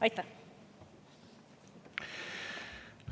Aitäh!